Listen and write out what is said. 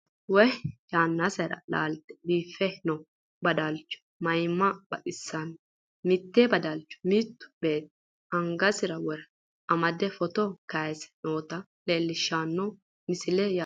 wow! yannasera laalte biiffe noo badalcho mayiimma baxissanno, mitte badalcho mittu beetti angasira wore amade footo kayiise noota leelishshanno misileeti yaate.